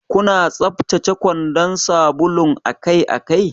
Kuna tsaftace kwandan sabulun akai-akai?